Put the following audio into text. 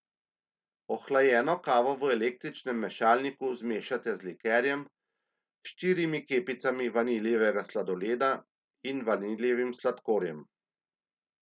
Ohlajeno kavo v električnem mešalniku zmešajte z likerjem, štirimi kepicami vaniljevega sladoleda in vaniljevim sladkorjem.